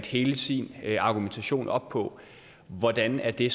hele sin argumentation op på hvordan er det